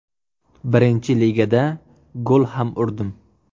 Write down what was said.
Birinchi ligada gol ham urdim.